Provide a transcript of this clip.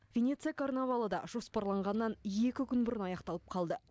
венеция карнавалы да жоспарланғаннан екі күн бұрын аяқталып қалды